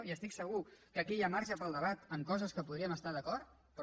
i estic segur que aquí hi ha marge per al debat en coses que podríem estar d’acord però